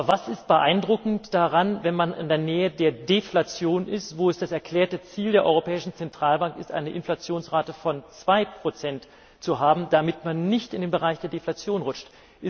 Aber was ist beeindruckend daran, wenn man in der Nähe der Deflation ist, wo es das erklärte Ziel der Europäischen Zentralbank ist, eine Inflationsrate von 2 zu haben, damit man nicht in den Bereich der Deflation rutscht?